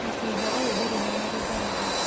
Mũcinga ũyũ ndũrĩ na marĩthathi.